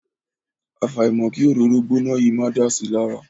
Àfàìmọ̀ kí òróró gbóná yìí máa dà si lára.